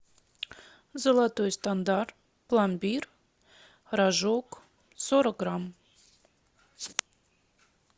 золотой стандарт пломбир рожок сорок грамм